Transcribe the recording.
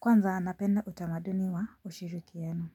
Kwanza anapenda utamaduni wa ushirikiana.